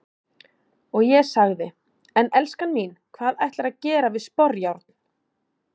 Og ég sagði:- En elskan mín, hvað ætlarðu að gera við sporjárn?